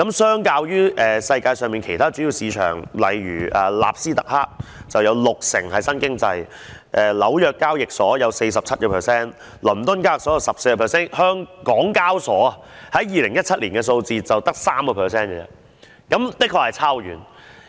相較於世界上其他主要市場，例如納斯特克，它有六成是屬於新經濟的股份；紐約交易所，有 47%； 倫敦交易所，有 14%； 港交所在2017年的數字，只有 3%， 的確相差很遠。